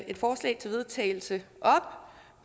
et forslag til vedtagelse op